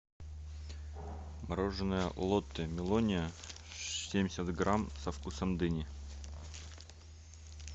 мороженое лотте мелония семьдесят грамм со вкусом дыни